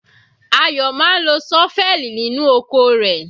Ayo máa ń lo ṣọ́fẹ́ẹ̀lì nínú oko rẹ̀.